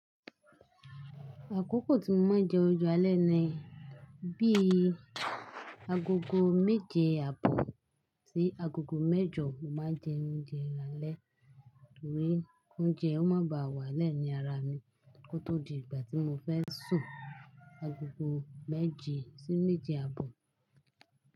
Àkókò tí mo máa ń jẹ oúnjẹ alẹ́ ni bí i agogo méje àbọ̀ sí agogo mẹ́jọ. Mo máa ń jẹ oúnjẹ alẹ́ torí oúnjẹ ó máa ń ba wá lẹ́ẹ̀ ní ara mi kó tó di ìgbà tí mo fẹ́ sùn. Agogo méje sí méje àbọ̀